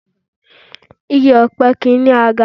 Igi ọ̀pẹ kì í ní àga